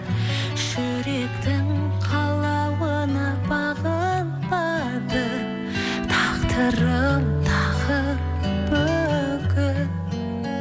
жүректің қалауына бағынбады тағдырым тағы бүгін